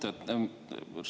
Hea Mart!